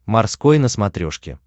морской на смотрешке